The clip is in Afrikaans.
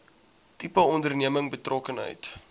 tipe onderneming betrokkenheid